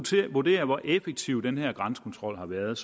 skal vurdere hvor effektiv den her grænsekontrol har været